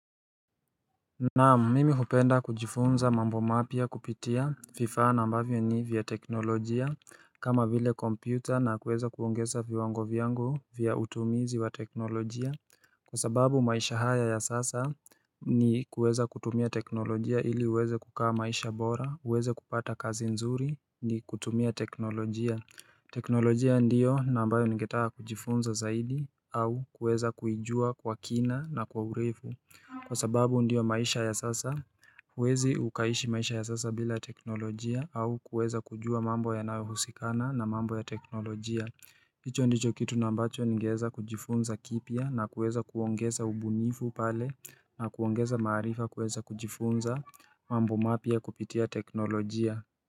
Na mimi hupenda kujifunza mambo mapia kupitia vifaa na ambavyo ni vya teknolojia kama vile kompyuta na kuweza kuongeza viwango viango vya utumizi wa teknolojia Kwa sababu maisha haya ya sasa ni kuweza kutumia teknolojia ili uweze kukaa maisha bora, uweze kupata kazi nzuri ni kutumia teknolojia teknolojia ndiyo ambayo ningetaa kujifunza zaidi au kuweza kuijua kwa kina na kwa ureifu Kwa sababu ndiyo maisha ya sasa, wezi ukaishi maisha ya sasa bila teknolojia au kuweza kujua mambo ya nawe husikana na mambo ya teknolojia Icho ndicho kitu na mbacho ngeza kujifunza kipia na kuweza kuongeza ubunifu pale na kuongeza maarifa kuweza kujifunza mambo mapia kupitia teknolojia.